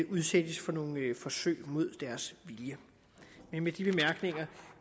udsættes for nogen forsøg mod deres vilje med de bemærkninger